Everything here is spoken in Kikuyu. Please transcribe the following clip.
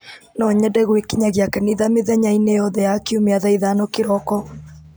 no nyende gwĩkinyagia kanitha mĩthenya-inĩ yothe ya kiumia thaa ithano kĩroko